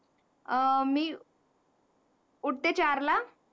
अं मी उठते चार ला.